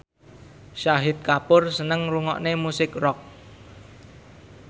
Shahid Kapoor seneng ngrungokne musik rock